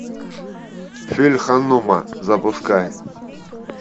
фильм ханума запускай